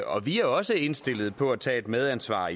og vi er også indstillet på at tage et medansvar